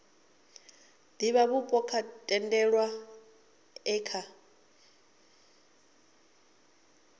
divhavhupo o tendelwaho e kha